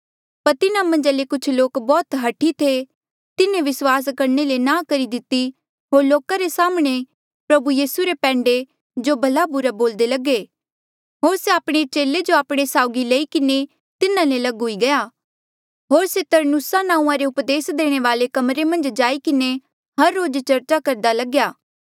पर तिन्हा मन्झा ले कुछ लोक बौह्त हठी थे तिन्हें विस्वास करणे ले नांह करी दिती होर लोका रे साम्हणें प्रभु यीसू रे पैंडे जो भला बुरा बोल्दे लगे होर से आपणे चेले जो आपणे साउगी लई किन्हें तिन्हा ले लग हुई गया होर से तरन्नुसा नांऊँआ रे उपदेस देणे वाले कमरे मन्झ जाईं किन्हें हर रोज चर्चा करदा लग्या